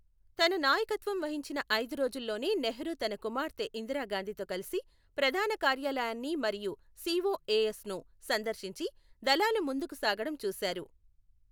తన నాయకత్వం వహించిన ఐదు రోజుల్లోనే నెహ్రూ తన కుమార్తె ఇందిరాగాంధీతో కలిసి ప్రధాన కార్యాలయాన్ని మరియు సిఓఏఎస్ ను సందర్శించి దళాలు ముందుకు సాగడం చూశారు.